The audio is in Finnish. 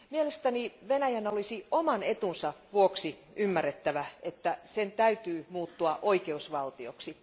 Mielestäni Venäjän olisi oman etunsa vuoksi ymmärrettävä, että sen täytyy muuttua oikeusvaltioksi.